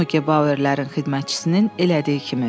Noke Bauerlərin xidmətçisinin elədiyi kimi.